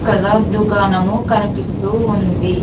ఇక్కడ దుకాణము కనిపిస్తూ ఉంది.